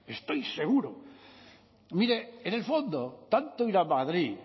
estoy seguro mire en el fondo tanto ir a madrid